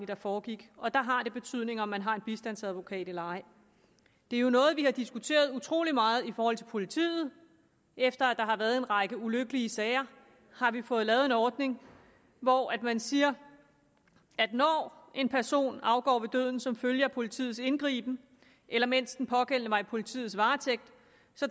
der foregik og der har det betydning om de har en bistandsadvokat eller ej det er jo noget vi har diskuteret utrolig meget i forhold til politiet efter at der har været en række ulykkelige sager har vi fået lavet en ordning hvor man siger at når en person afgår ved døden som følge af politiets indgriben eller mens den pågældende var i politiets varetægt